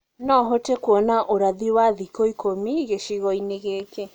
no hote kũona ũrathi wa thĩkũ ĩkũmĩ gĩcĩgoĩni gĩkĩ